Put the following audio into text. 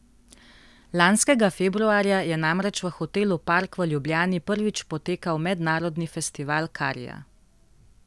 Lanskega februarja je namreč v hotelu Park v Ljubljani prvič potekal mednarodni festival karija.